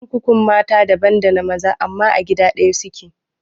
kurkukun mata daban dana maza amma a gida ɗaya suke